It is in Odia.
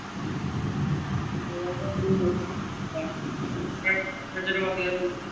ଅଧିକା ରହୁଛି।